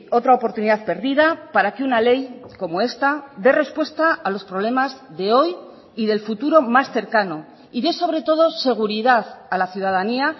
otra oportunidad perdida para que una ley como esta de respuesta a los problemas de hoy y del futuro más cercano y de sobre todo seguridad a la ciudadanía